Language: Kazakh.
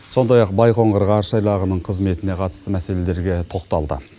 сондай ақ байқоңыр ғарыш айлағының қызметіне қатысты мәселелерге тоқталды